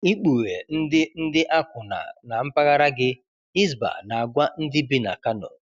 Ikpughe ndị ndị akwụna na mpaghara gị, Hisbah na-agwa ndị bi na Kano